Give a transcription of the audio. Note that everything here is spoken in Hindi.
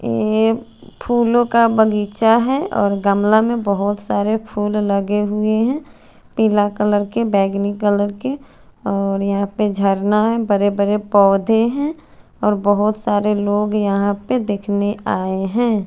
ये फूलो का बगीचा है और गमले में बहोत सारे फुल लगे हुए है पिला कलर का बेंगनी कलर के और यहा पे जर्ना है बरे बरे पोधे है और बोहोत सारे लोग यहा पे देखने आये है।